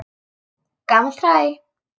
Gamalt hræ.